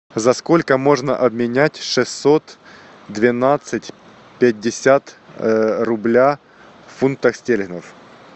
за сколько можно обменять шестьсот двенадцать пятьдесят рубля в фунтах стерлингов